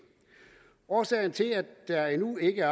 årsagen til at der endnu ikke er